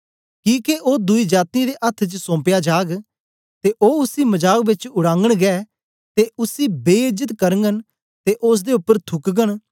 किके ओ दुई जातीयें दे अथ्थ च सौम्पया जाग ते ओ उसी मजाक बेच उड़ागन गै ते उसी बे इज्जत करगन ते ओसदे उपर थूकगन